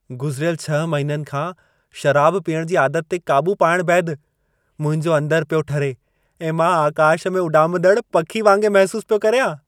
गुज़िरियल छह महिननि खां शराब पीअणु जी आदत ते क़ाबू पाइणु बैदि मुंहिंजो अंदरु पियो ठरे ऐं मां आकाश में उॾामंदड़ु पखी वांगे महिसूसु पियो करियां।